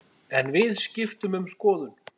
En við skiptum um skoðun.